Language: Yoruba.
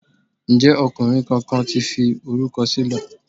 Ǹjẹ́ ọkùnrin kankan ti fi orúkọ sílẹ̀?